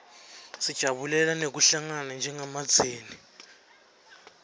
sijabulela nekuhlangana njengemndzeni